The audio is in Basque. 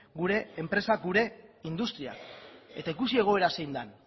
gure enpresak gure industriak eta ikusi egoera zein den